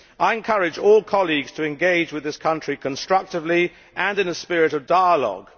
I encourage all colleagues to engage with this country constructively and in a spirit of dialogue.